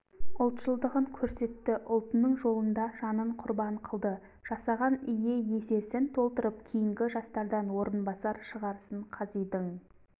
ұлтшылдығын көрсетті ұлтының жолында жанын құрбан қылды жасаған ие есесін толтырып кейінгі жастардан орынбасар шығарсын қазидың